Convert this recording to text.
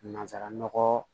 Nansara nɔgɔ